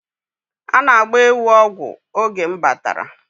A na-agba ewu ọgwụ oge m batara